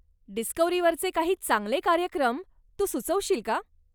डिस्कव्हरीवरचे काही चांगले कार्यक्रम तू सुचवशील का?